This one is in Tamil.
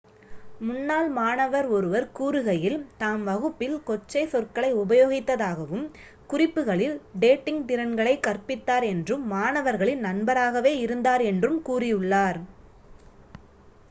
முன்னாள் மாணவர் ஒருவர் கூறுகையில் தாம் வகுப்பில் கொச்சைச் சொற்களை உபயோகித்ததாகவும் குறிப்புகளில் டேட்டிங்க் திறன்களை கற்பித்தார் என்றும் மாணவர்களின் நண்பராகவே இருந்தார் என்றும் கூறியுள்ளார்